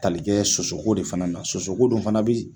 Tali kɛ sosoko de fana na sosoko dun fana bi